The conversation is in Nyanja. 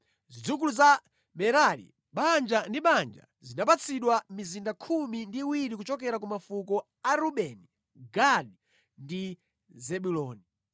Zidzukulu za Merari banja ndi banja zinapatsidwa mizinda khumi ndi iwiri kuchokera ku mafuko a Rubeni, Gadi ndi Zebuloni.